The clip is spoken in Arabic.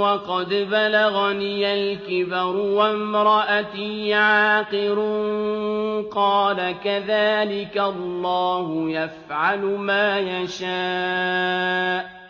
وَقَدْ بَلَغَنِيَ الْكِبَرُ وَامْرَأَتِي عَاقِرٌ ۖ قَالَ كَذَٰلِكَ اللَّهُ يَفْعَلُ مَا يَشَاءُ